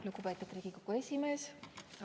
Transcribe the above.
Lugupeetud Riigikogu esimees!